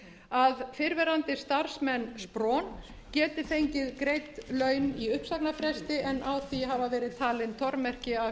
að fyrrverandi starfsmenn spron geti fengið greidd laun í uppsagnarfresti en á því hafa verið talin tormerki af